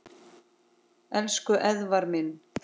Elsku Eðvarð minn.